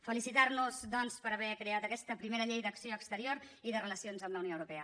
felicitar nos doncs per haver creat aquesta primera llei d’acció exterior i de relacions amb la unió europea